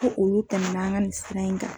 Ko olu tɛmɛna an ka nin sira in kan.